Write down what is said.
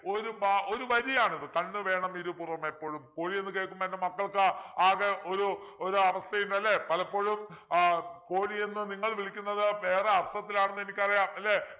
ഒരു പ ഒരു വരിയാണിത് കണ്ണുവേണംഇരുപുറമെപ്പൊഴും കോഴി എന്ന് കേൾക്കുമ്പോ എൻ്റെ മക്കൾക്ക് ആകെ ഒരു ഒരാവസ്ഥയും അല്ലെ പലപ്പോഴും ആഹ് കോഴി എന്ന് നിങ്ങൾ വിളിക്കുന്നത് വേറെ അർത്ഥത്തിലാണെന്നു എനിക്കറിയാം അല്ലെ